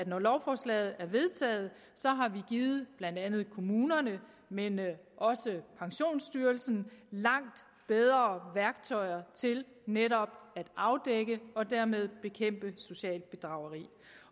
når lovforslaget er vedtaget så har givet blandt andet kommunerne men også pensionsstyrelsen langt bedre værktøjer til netop at afdække og dermed bekæmpe socialt bedrageri